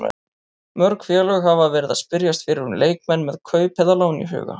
Mörg félög hafa verið að spyrjast fyrir um leikmenn með kaup eða lán í huga.